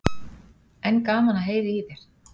En gaman að heyra í þér.